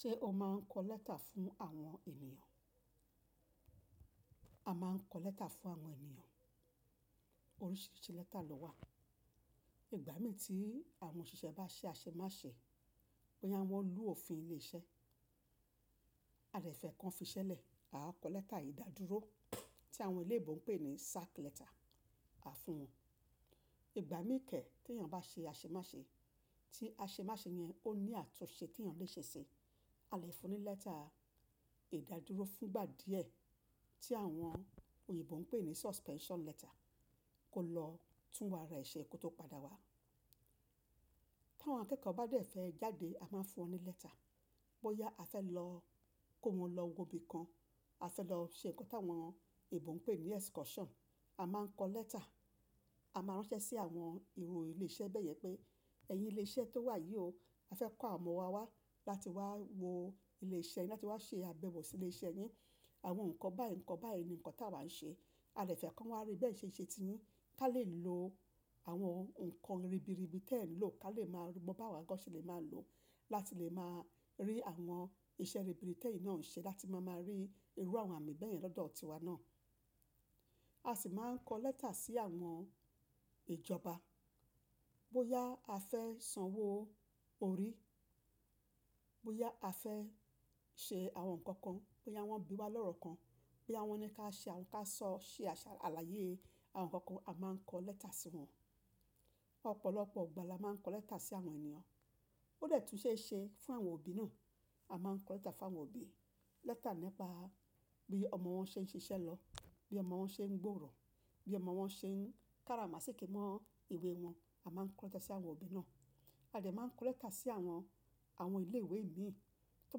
Ṣé o máa ń kọ lẹ́tà fún àwọn ènìyàn? A máa ń kọ lẹ́tà fún àwọn ènìyàn. Oríṣiríṣi lẹ́tà lọ wà. Ìgbà mì tí àwọn òṣìṣẹ́ bá ṣe àṣemáṣe bo yá wọn lu òfin ilé iṣẹ́, a dè fẹ́ kan fiṣẹ́lẹ̀, à á kọ lẹ́tà ìdádúró tí àwọn eléebo ń pè ní sack letter a fún wọn. Ìgbà míì kẹ́ẹ̀ tí èèyàn bá ṣe àṣemáṣe, tí àṣemáṣe yẹn ó ní àtúnṣe tí èèyàn lè ṣe ṣi, a lè fún ní lẹ́tà ìdádúró fúngbà díẹ̀ tí àwọn òyìnbó ń pè ní suspension letter kó lọ túnwà ara ẹ̀ ṣe kó tó padà wá. Tí àwọn akẹ́kọ̀ọ́ bá dẹ̀ fẹ́ jáde a máa ń fún wọn ní lẹ́tà. Bóyá a fẹ́ lọ kó wọn lọ wo ibi kan, a fẹ́ lọ ṣe nǹkan tí àwọn eebo ń pè ní excursion, a máa ń kọ lẹ́tà. A máa ránṣẹ́ sí àwọn ìru ilé iṣẹ́ bẹ́yẹn pé ẹ̀yin ilé iṣẹ́ tó wà yìí o, a fẹ́ kó àwọn ọmọ wa wá láti wá wo ilé iṣẹ́ yín, láti wá ṣe àbẹ̀wò sí ilé iṣẹ́ yín. Àwọn nǹkan báyìí ńǹkan báyìí ni nǹkan tí àwa ń ṣe. A lè fẹ́ kí wọ́n wá rí bi ẹ̀ ṣe n iṣẹ́ ti yín, kí a lè lo àwọn nǹkan ribiribi tí ẹ̀ ń lò kí a lè máa mọ̀ bi àwa gan se le máa lò ó láti lè máa rí àwọn iṣẹ́ ribiribi tí ẹ̀ ń ṣe láti máa ma rí irú àwọn àmì bẹ́yẹn lọ́dọ̀ tiwa náà. A sì máa ń kọ lẹ́tà sí àwọn ìjọba. Bóyá a fẹ́ sanwó orí, bóyá a fẹ́ ṣe àwọn nǹkan kan, bóyá wọ́n bí wa lọ́rọ kan, boya won ní ká ṣe ká sọ ṣe ṣe àlàyé àwọn nǹkan kan a máa ń kọ lẹ́tà sí wọn. Ọ̀pọ̀lọpọ̀ ìgbà la máa ń kọ lẹ́tà sí àwọn ènìyàn. Ó lè tún ṣe é ṣe fún àwọn òbí náà. A máa ń kọ lẹ́tà fún àwọn òbí. Lẹ́tà nípa bí ọmọ wọn ṣe ń ṣiṣẹ́ lọ, bí ọmọ wọn ṣe ń gbòòrò, bí ọmọ wọn ṣe ń kára màsíkí mọ́ ìwé wọn, a máa ń kọ lẹ́tà sí àwọn òbí náà. A lè máa ń kọ lẹ́tà sí àwọn, àwọn ilé ìwé mii. Tó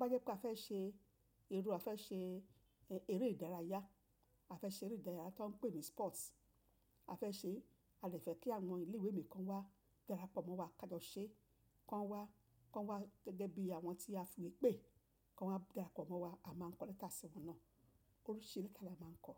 bá jẹ́ pé a fẹ́ ṣe irú a fẹ́ ṣe eré ìdárayá, a fẹ́ ṣe eré ìdárayá tó ń pè ní sports a fẹ́ ṣe, a lè fẹ́ kí àwọn ilé ìwé mi kan wá darapọ̀ mọ́ wa ká lọ ṣe, kan wá, kan wá gẹ́gẹ́ bí àwọn tí a fiwé pé, kan wá darapọ̀ mọ́ wa, a máa ń kọ lẹ́tà sí wọn náà. Oríṣiríṣi lẹ́tà la máa ń kọ.